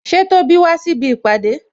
Ṣé Tóbi wá síbi ìpàdé?